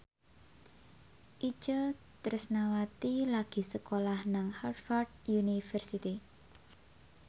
Itje Tresnawati lagi sekolah nang Harvard university